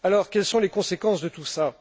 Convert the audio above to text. Quelles sont les conséquences de tout cela?